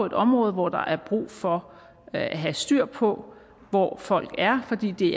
det område hvor der er brug for at have styr på hvor folk er fordi det